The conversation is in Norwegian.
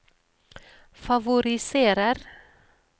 favoriserer